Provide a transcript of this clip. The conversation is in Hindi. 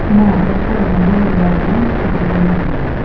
यहां पर पर्दा भी लगा हुआ दिखाई देता है।